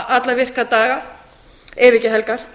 alla virka daga ef ekki helgar